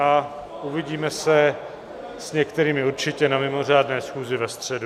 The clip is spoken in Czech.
A uvidíme se, s některými určitě, na mimořádné schůzi ve středu.